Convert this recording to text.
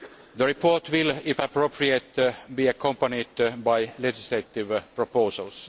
The report will, if appropriate, be accompanied by legislative proposals.